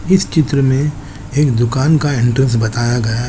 इस चित्र में एक दुकान का एंट्रेंस बताया गया --